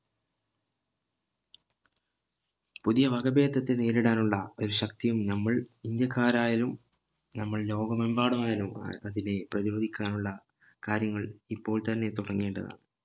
പുതിയ വകഭേദത്തെ നേരിടാനുള്ള ഒരു ശക്തിയും നമ്മൾ ഇന്ത്യക്കാർ ആയാലും നമ്മൾ ലോകമെമ്പാടായാലും ആ അതിന്നെ പ്രധിരോധിക്കാനുള്ള കാര്യങ്ങൾ ഇപ്പോൾ തന്നെ തുടങ്ങേണ്ടതാണ്